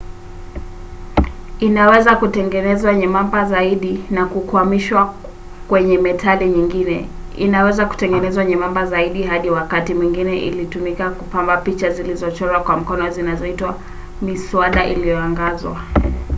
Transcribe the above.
inaweza kutengenezwa nyembamba zaidi na kukwamishwa kwenye metali nyingine. inaweza kutengenezwa nyembamba zaidi hadi wakati mwingine ilitumika kupamba picha zilizochorwa kwa mkono zinazoitwa miswada iliyoangazwa